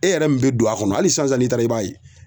E yɛrɛ min bɛ don a kɔnɔ hali sisan n'i taara i b'a ye.